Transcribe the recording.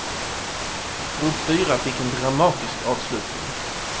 Grupp fyra fick en dramatisk avslutning.